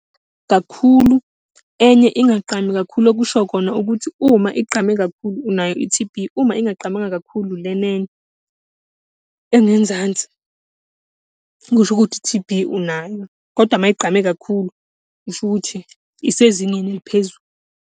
Kakhulu, enye ingagqami kakhulu, okusho khona ukuthi uma igqame kakhulu unayo i-T_B, uma ingagqamanga kakhulu lena enye engenzansi, kusho ukuthi i-T_B unayo. Kodwa uma igqame kakhulu, kusho ukuthi isezingeni eliphezulu.